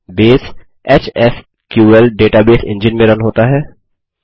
base HSQL database engine में run होता है